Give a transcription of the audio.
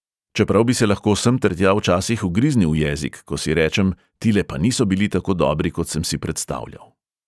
Čeprav bi se lahko semtertja včasih ugriznil v jezik, ko si rečem, tile pa niso bili tako dobri, kot sem si predstavljal.